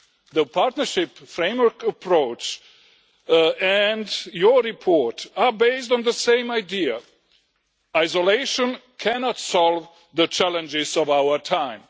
The partnership framework approach and your report are based on the same idea isolation cannot solve the challenges of our time.